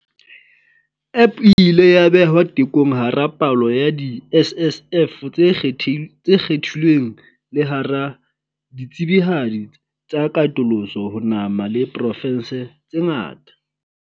App e ile ya behwa tekong hara palo ya di-SSF tse kgethi tse kgethilweng le hara ditsebihadi tsa katoloso ho nama le provense tse ngata.